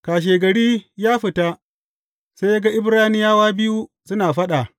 Kashegari ya fita, sai ya ga Ibraniyawa biyu suna faɗa.